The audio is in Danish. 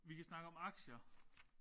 Vi kan snakke om aktier